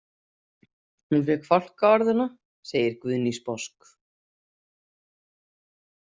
Hún fékk fálkaorðuna, segir Guðný sposk.